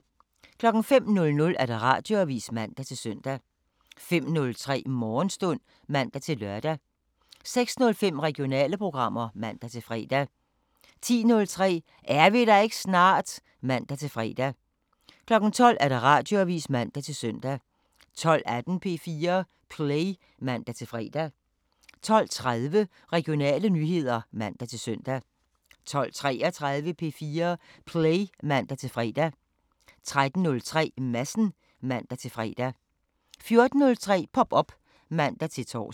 05:00: Radioavisen (man-søn) 05:03: Morgenstund (man-lør) 06:05: Regionale programmer (man-fre) 10:03: Er vi der ikke snart? (man-fre) 12:00: Radioavisen (man-søn) 12:18: P4 Play (man-fre) 12:30: Regionale nyheder (man-søn) 12:33: P4 Play (man-fre) 13:03: Madsen (man-fre) 14:03: Pop op (man-tor)